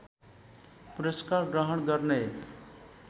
पुरस्कार ग्रहण गर्ने